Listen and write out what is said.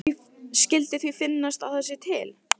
Skyldi því finnast að það sé til?